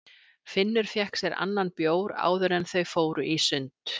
Finnur fékk sér annan bjór áður en þau fóru í sund.